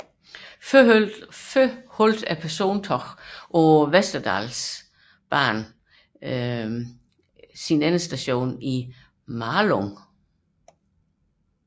Persontogene på Västerdalsbanan havde tidligere endestation i Malung